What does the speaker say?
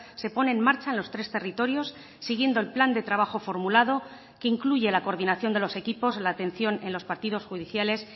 se pone en marcha en los tres territorios siguiendo el plan de trabajo formulado que incluye la coordinación de los equipos la atención en los partidos judiciales